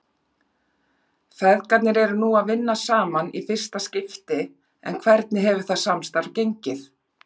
Feðgarnir eru nú að vinna saman í fyrsta skipti en hvernig hefur það samstarf gengið?